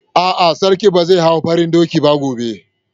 A'a, Sarki ba zai hau farin dokin ba gobe.